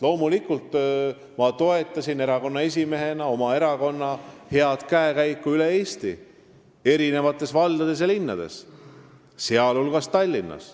Loomulikult toetan ma erakonna esimehena oma erakonna head käekäiku üle Eesti, valdades ja linnades, sh Tallinnas.